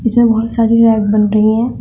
इसमें बहोत सारी रैक बन रही है।